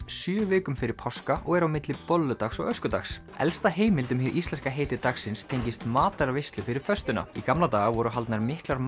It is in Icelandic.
sjö vikum fyrir páska og er á milli bolludags og öskudags elsta heimild um hið íslenska heiti dagsins tengist matarveislu fyrir föstuna í gamla daga voru haldnar miklar